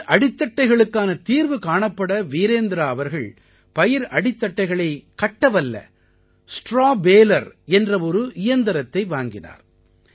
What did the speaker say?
பயிர் அடித்தட்டைகளுக்கான தீர்வு காணப்பட வீரேந்த்ரா அவர்கள் பயிர் அடித்தட்டைகளைக் கட்டவல்ல ஸ்ட்ராவ் பேலர் என்ற ஒரு இயந்திரத்தை வாங்கினார்